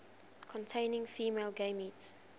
containing male gametes